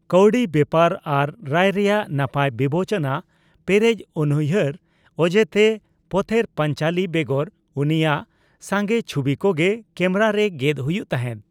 ᱠᱟᱹᱣᱰᱤ ᱵᱮᱯᱟᱨ ᱟᱨ ᱨᱟᱭ ᱨᱮᱭᱟᱜ ᱱᱟᱯᱟᱭ ᱵᱤᱵᱮᱪᱚᱱᱟ ᱯᱮᱨᱮᱡ ᱩᱱᱩᱭ ᱦᱟᱹᱨ ᱚᱡᱮᱛᱮ, ᱯᱚᱛᱷᱮᱨ ᱯᱟᱸᱪᱟᱞᱤ ᱵᱮᱜᱚᱨ ᱩᱱᱤᱭᱟᱜ ᱥᱟᱸᱜᱮ ᱪᱷᱩᱵᱤ ᱠᱚᱜᱮ ᱠᱮᱢᱮᱨᱟ ᱨᱮ ᱜᱮᱫ ᱦᱩᱭᱩᱜ ᱛᱟᱦᱮᱸᱫ ᱾